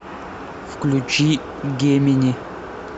включи гемини